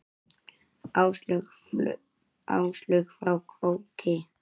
Áslaug frá Króki.